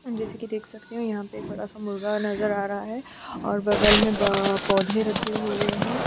जैसे की में यह देख सकती हु यहाँ पे एक बड़ा-सा मुर्गा नज़र आ रहा है और बगल में पौधे रखे हुए हैं।